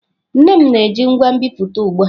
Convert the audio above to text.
Nne m na-eji ngwa nbipute ugbu a.